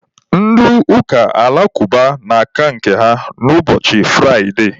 Ndị ụka alakụba na-aka nke ha ụbọchị Fraide.